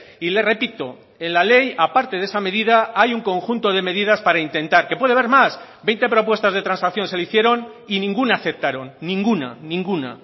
y le repito en la ley a parte de esa medida hay un conjunto de medidas para intentar que puede haber más veinte propuestas de transacción se le hicieron y ninguna aceptaron ninguna ninguna